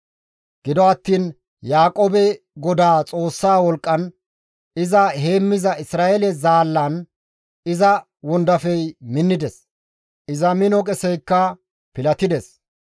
Gido attiin Yaaqoobe Godaa Xoossa wolqqan iza heemmiza Isra7eele zaallan iza wondafey minnides; iza mino qeseykka pilatides.